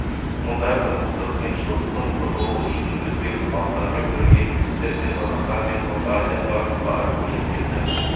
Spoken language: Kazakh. мұндай тұрмыстық қиыншылықтан құтылу үшін өзге халықтармен бірге немістер де қазақстан мен орта азияға қарай көшіп келді